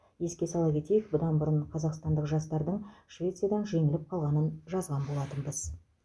еске сала кетейік бұдан бұрын қазақстандық жастардың швециядан жеңіліп қалғанын жазған болатынбыз